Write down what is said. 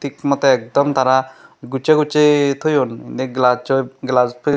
thik motey ekdom tara gucchey gucchey thoyun indi glass oi glass fit.